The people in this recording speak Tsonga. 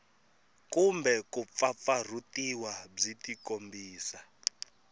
kumbe ku pfapfarhutiwa byi tikombisa